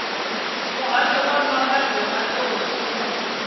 muhasho wa mbambadzo na nḓowetshumo